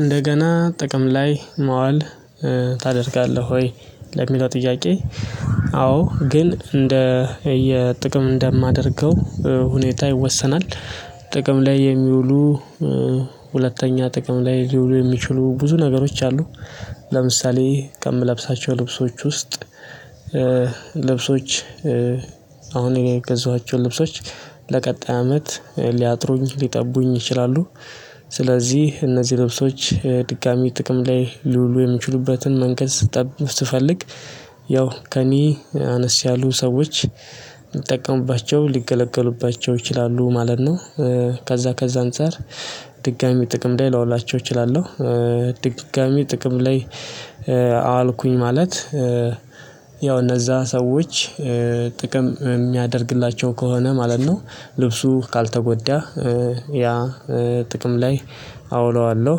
እንደገና ጥቅም ላይ መዋል ታደርጋለህ ወይ? ለሚለው ጥያቄ አዎ ግን እንደ የጥቅም እንደማደርገው ሁኔታ ይወሰናል። ጥቅም ላይ የሚውሉ ሁለተኛ ጥቅም ላይ ሊውሉ የሚችሉ ብዙ ነገሮች አሉ። ለምሳሌ ከምለብሳቸው ልብሶች ውስጥ ልብሶች አሁን እኔ የገዛኋቸው ልብሶች ለቀጣይ አመት ሊያጥሩኝ ሊጠቡኝ ይችላሉ። ስለዚህ እነዚህ ልብሶች ድጋሚ ጥቅም ላይ ሊዉሉ የሚችሉበትን መንገድ ስትጠብቅ ስትፈልግ ያው ከእኔ አነስ ያሉ ሰዎች ሊጠቀሙባቸው ሊገለገሉባቸው ይችላሉ ማለት ነው። ከዛ ከዛ አንፃር ድጋሚ ጥቅም ላይ ላውላቸው እችላለሁ። ድጋሚ ጥቅም ላይ አዋልኩኝ ማለት ያው እነዛ ሰዎች ጥቅም የሚያደርግላቸው ከሆነ ማለት ነው ልብሱ ካልተጎዳ ያ ጥቅም ላይ አውለዋለሁ።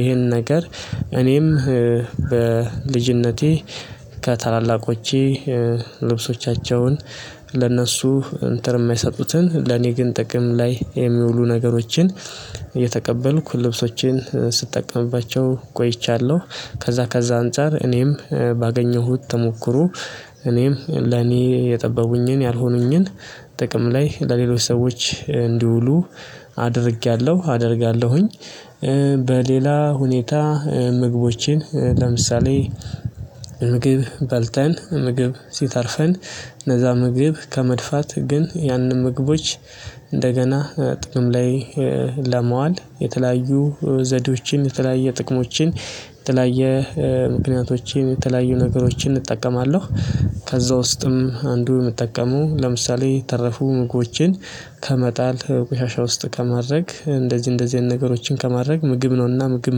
ይሄን ነገር እኔም በልጅነቴ ከታላላቆቼ ልብሶቻቸውን ለእነሱ እንትን የማይሰጡትን ለኔ ግን ጥቅም ላይ የሚውሉ ነገሮችን የተቀበልኩ ልብሶችን ስጠቀምባቸው ቆይቻለሁ። ከዛ ከዛ አንፃር እኔም ባገኘሁት ተሞክሮ እኔም ለኔ የጠበቡኝን ያልሆኑኝን ጥቅም ላይ ለሌሎች ሰዎች እንዲውሉ አድርጌያለሁ አደርጋለሁኝ። ሁኔታ ምግቦችን ለምሳሌ ምግብ በልተን ምግብ ሲተርፈን እነዛ ምግብ ከመድፋት ግን ያንን ምግቦች እንደገና ጥቅም ላይ ለመዋል የተለያዩ ዘዴዎችን፣ የተለያየ ጥቅሞችን፣ የተለያየ ምክንያቶችን፣ የተለያየ ነገሮችን እጠቀማለሁ። ከዛ ውስጥም አንዱ የምጠቀመው ለምሳሌ የተረፉ ምግቦችን ከመጣል ቆሻሻ ውስጥ ከማድረግ እንደዚህ እንደዚህ አይነት ነገሮችን ከማድረግ ምግብ ነውና ምግብ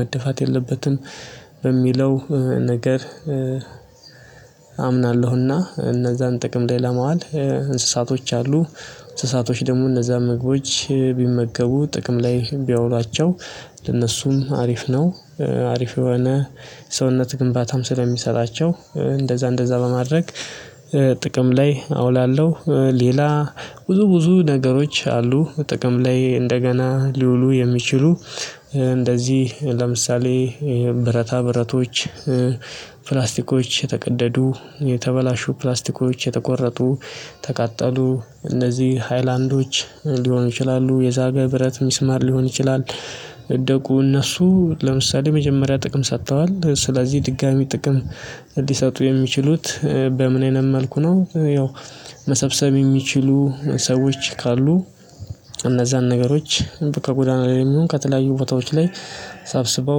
መደፋት የለበትም በሚለው ነገር አምናለሁና፣ እነዛን ጥቅም ላይ ለመዋል እንስሳቶች አሉ እንስሳቶች ደግሞ እነዛ ምግቦች ቢመገቡ ጥቅም ላይ ቢያውሏቸው ለነሱም አሪፍ ነው፣ አሪፍ የሆነ ሰውነት ግንባታም ስለሚሰጣቸው እንደዛ እንደዛ በማድረግ ጥቅም ላይ አውላለሁ። ሌላ ብዙ ብዙ ነገሮች አሉ ጥቅም ላይ እንደገና ሊውሉ የሚችሉ እንደዚህ ለምሳሌ ብረታ ብረቶች፣ ፕላስቲኮች፣ ተቀደዱ የተበላሹ ፕላስቲኮች፣ የተቆረጡ ተቃጠሉ እነዚህ ሃይላንዶች፣ ሊሆኑ ይችላሉ የዛገ ብረት ሚስማር፣ ሊሆን ይችላል የወደቁ እነሱ ለምሳሌ መጀመሪያ ጥቅም ሰጥተዋል ስለዚህ ድጋሚ ጥቅም ሊሰጡ የሚችሉት በምን አይነት መንኩ ነው ያው መሰብሰብ የሚችሉ ሰዎች ካሉ እነዛን ነገሮች ከጎዳና ላይም ይሁን ከተለያዩ ቦታዎች ላይ ሰብስበው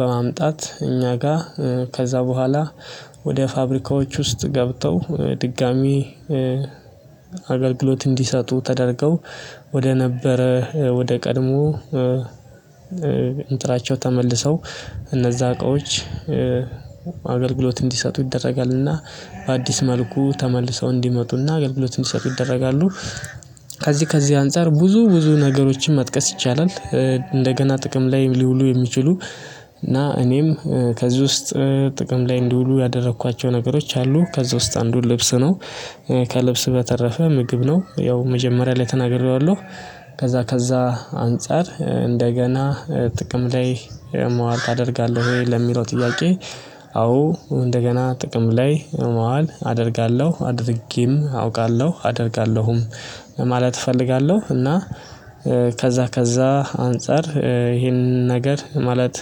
በማምጣት እኛ ጋር ከዛ በኋላ ወደ ፋብሪካዎች ውስጥ ገብተው ድጋሚ አገልግሎት እንዲሰጡ ተደርገው ወደ ነበረ ወደ ቀድሞ እንናቸው ተመልሰው እነዛ እቃዎች አገልግሎት እንዲሰጡ ይደረጋልና በአዲስ መልኩ ተመልሰው እንዲመጡና አገልግሎት እንዲሰጡ ይደረጋሉ። ከዚህ ከዚህ አንፃር ብዙ ብዙ ነገሮችን መጥቀስ ይቻላል። እንደገና ጥቅም ላይ ሊውሉ የሚችሉ እና እኔም ከዚህ ውስጥ ጥቅም ላይ እንዲውሉ ያደረኳቸው ነገሮች አሉ ከዛ ውስጥ አንዱን ልብስ ነው ከልብስ በተረፈ ምግብ ነው ያው መጀመሪያ ላይ ተናግሬዋለሁ ከዛ ከዛ አንፃር እንደገና ጥቅም ላይ መዋል ታደርጋለህ ወይ ለሚለው ጥያቄ አዎ እንደገና ጥቅም ላይ መዋል አደርጋለሁ አድርጌም አውቃለሁ አደርጋለሁም ማለት እፈልጋለሁ እና ከዛ ከዛ አንፃር ይሄንን ነገር ማለት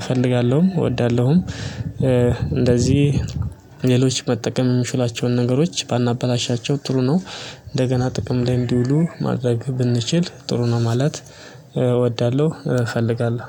እፈልጋለሁ እወዳለሁም። እንደዚህ ሌሎች መጠቀም የምችሏቸውን ነገሮች ባናበላሻቸው ጥሩ ነው እንደገና ጥቅም ላይ እንዲውሉ ማድረግ ብንችል ጥሩ ነው ማለት እወዳለሁ እፈልጋለሁ።